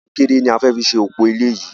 Kọnkéré ni a fẹ fi ṣe òpò ilé yìí